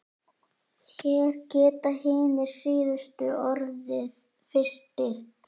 Hér geta hinir síðustu orðið fyrstir.